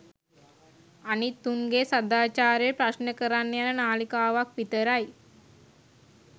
අනිත් උන්ගේ සදාචාරය ප්‍රශ්න කරන්න යන නාලිකාවක් විතරයි.